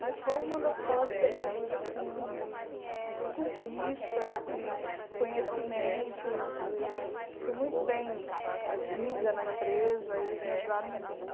Mas foi uma das fases da minha vida assim de de conquista, de conhecimentos, eu fui muito bem eh vinda na empresa, eles me ajudaram muito.